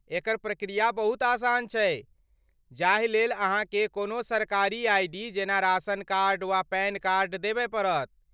एकर प्रक्रिया बहुत आसान छै, जाहि लेल अहाँके कोनो सरकारी आइ.डी. जेना राशन कार्ड, वा पैन कार्ड देबय पड़त।